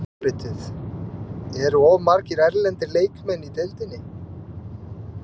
Álitið: Eru of margir erlendir leikmenn í deildinni?